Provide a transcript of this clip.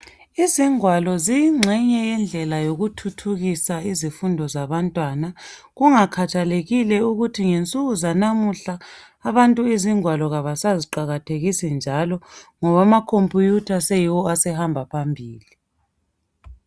izingwalo ziyinxenye yendlela yokuthuthukisa izifundo zabantwana kungakhathalekile ukuthi ngensuku zanamuhla abantu izingwalo kabasaziqakathekisi njalo ngoba ama computer seyiwo asehamba phambili